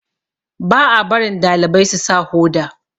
ba a barin dalibai su sa Hoda